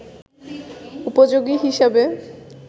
উপযোগী হিসাবে